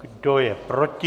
Kdo je proti?